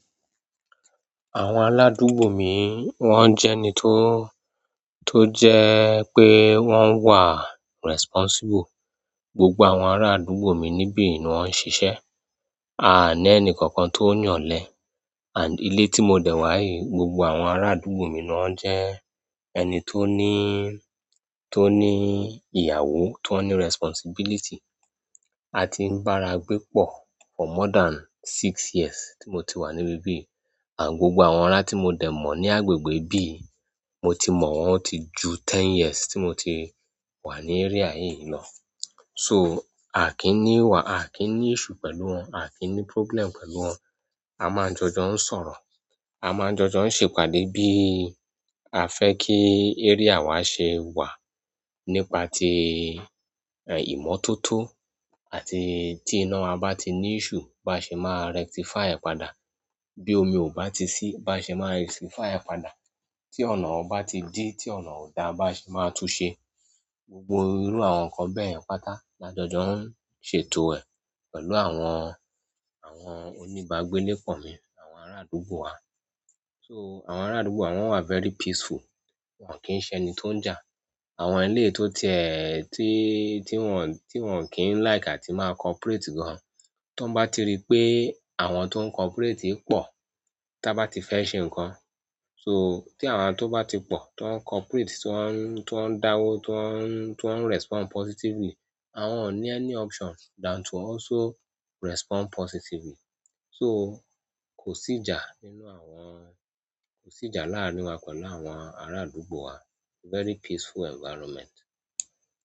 Àwọn aládúgbò mi wọ́n jẹ́ ẹni tó, tó jẹ pé wọ́n wà responsible. Gbogbo àwọn ará àdúgbò mi nibi ni wọn ṣiṣẹ. A à ní ẹni kankan tó n yà ọ̀lẹ́. And ilé tí mo dẹ̀ wá yìí, gbogbo àwọn ará àdúgbò mi náà jẹ́ ẹni tó ní, tó ní ìyàwó, tó ní responsibility. A ti ń bá ara gbé pọ̀ for more than six years tí mo ti wà níbi bí. Àn gbogbo àwọn ará tí mo dẹ̀ mọ̀ ní agbègbè bí, mo ti mọ̀ wọ́n ti ju ten years tí mo ti wà ní area yìí lọ. So, a kì í ní wà, a kì í ní issue pẹ̀lú wọn, a kì í ní problem pẹ̀lú wọn. A máa ń jọjọ ń sọ̀rọ̀. A máa ń jọjọ ń ṣe ìpàdé bí a fẹ́ kí area wa ṣe wà nípa ti, ẹ, ìmọ́tótó àti tí iná wa bá ti ní issue bá ṣe máa rectify ẹ̀ padà. Bí omi ò bá ti ṣí bá ṣe máa rectify ẹ̀ padà. Tí ọ̀nà o bá ti dí, tí ọ̀nà ò da bá ṣe máa túnsẹ. Gbogbo irú àwọn nǹkan bẹ́yẹ̀n pátá la jọjọ ń ṣètò ẹ̀ pẹ̀lú àwọn, àwọn oní bágbé níkọ̀ mí, àwọn ará àdúgbò wa. So, àwọn ará àdúgbò wa wọ́n wà very peaceful. Wọ́n kì í ṣẹ ni tó ń jà. Àwọn elé tó ti ẹ́ ẹ, tí, tí wọ́n, tí wọ́n kì í like á ti máa corporate gan. Tọ́n bá ti rí pé àwọn tó ń corporate pọ̀, tí a bá ti fẹ́ ṣe nǹkan. So, tí àwọn tó bá ti pọ̀, tó ń corporate, tó ń, tó ń dáwó, tó ń, tó ń respond positively, àwọn ò ní ẹni option than to also respond positively. So, kò sí ìjà nínú àwọn-- kò sí ìjà láàrin wa pẹ̀lú àwọn ará àdúgbò wa. Very peaceful environment.